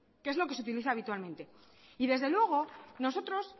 que es lo que se utiliza habitualmente y desde luego nosotros